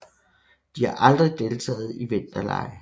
De har aldrig deltagt i vinterlege